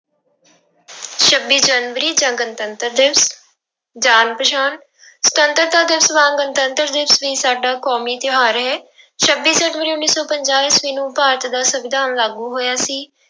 ਛੱਬੀ ਜਨਵਰੀ ਜਾਂ ਗਣਤੰਤਰਤ ਦਿਵਸ, ਜਾਣ ਪਛਾਣ ਸੁਤੰਤਰਤਾ ਦਿਵਸ ਵਾਂਗ ਗਣਤੰਤਰ ਦਿਵਸ ਵੀ ਸਾਡਾ ਕੌਮੀ ਤਿਉਹਾਰ ਹੈ ਛੱਬੀ ਜਨਵਰੀ ਉੱਨੀ ਸੌ ਪੰਜਾਹ ਈਸਵੀ ਨੂੰ ਭਾਰਤ ਦਾ ਸੰਵਿਧਾਨ ਲਾਗੂ ਹੋਇਆ ਸੀ।